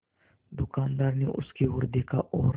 दुकानदार ने उसकी ओर देखा और